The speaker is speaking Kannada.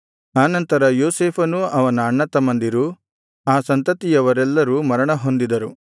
ಆ ನಂತರ ಯೋಸೇಫನೂ ಅವನ ಅಣ್ಣತಮ್ಮಂದಿರೂ ಆ ಸಂತತಿಯವರೆಲ್ಲರೂ ಮರಣ ಹೊಂದಿದರು